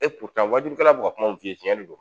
wajulikɛla be ka kuma min f'i ye tiɲɛ de don.